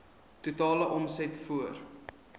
totale omset voor